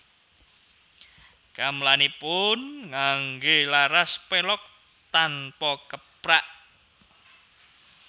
Gamelanipun nganggé laras pelog tanpa keprak